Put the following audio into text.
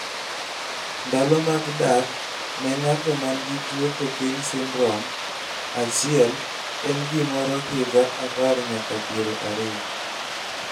ndalo mag dak ne ng'ato man gi tuo Cockayne syndrome achil en gimo ro higa apar nyaka piero ariyo